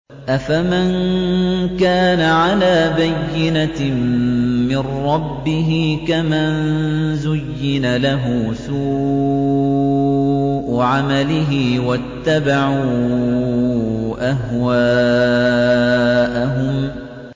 أَفَمَن كَانَ عَلَىٰ بَيِّنَةٍ مِّن رَّبِّهِ كَمَن زُيِّنَ لَهُ سُوءُ عَمَلِهِ وَاتَّبَعُوا أَهْوَاءَهُم